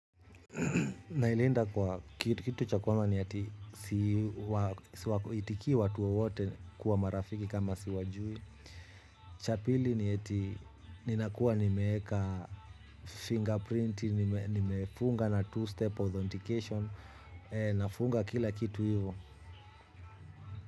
Na ilinda kwa, kitu cha kwanza ni eti siitikii watu wowote kuwa marafiki kama siwajui. Cha pili ni eti ninakuwa nimeweka fingerprinti, nimefunga na two-step authentication, nafunga kila kitu hivo.